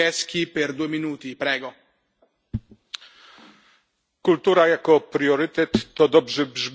Kultura jako priorytet to dobrze brzmi, natomiast z realizacją jest dużo gorzej.